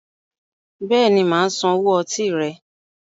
Béèni máa San owó ọtí rẹ